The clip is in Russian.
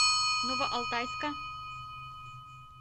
новоалтайска